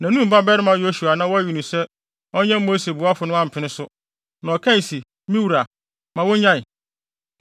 na Nun babarima Yosua a na wɔayi no sɛ ɔnyɛ Mose boafo no ampene so, na ɔkae se, “Me wura Mose, ma wonnyae!”